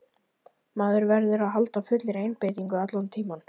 Maður verður að halda fullri einbeitingu allan tímann.